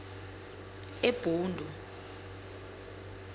ebhundu